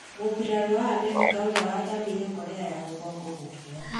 Mũbirarũ wa Amerika ũrĩa wathamĩire Korea ya rũgongo gũkua